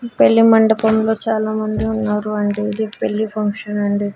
పెళ్లి మండపంలో చాలామంది ఉన్నారు అండి ఇది పెళ్లి ఫంక్షన్ అండి.